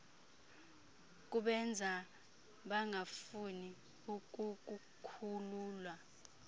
kubenza bangafuni ukukukhulula